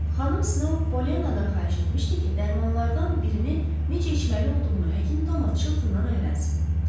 Xanım Snow Polyannadan xahiş etmişdi ki, dərmanlardan birini necə içməli olduğunu həkim Thomas Chiltondan öyrənsin.